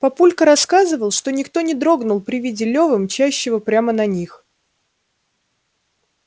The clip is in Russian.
папулька рассказывал что никто не дрогнул при виде лёвы мчащего прямо на них